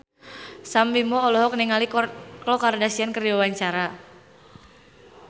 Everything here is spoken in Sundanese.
Sam Bimbo olohok ningali Khloe Kardashian keur diwawancara